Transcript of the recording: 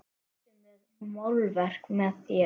Ertu með málverk með þér?